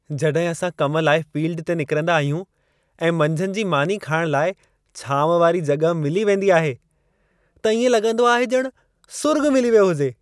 जॾहिं असां कम लाइ फ़ील्ड ते निकरंदा आहियूं ऐं मंझंदि जी मानी खाइणु लाइ छांव वारी जॻहि मिली वेंदी आहे, त इएं लॻंदो आहे ॼण सुर्ॻ मिली वियो हुजे।